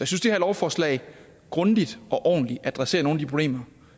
synes det her lovforslag grundigt og ordentligt adresserer nogle af de problemer